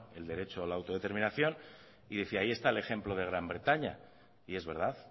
el derecho a la autodeterminación y decía ahí está el ejemplo de gran bretaña y es verdad